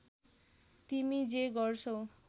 तिमी जे गर्छौ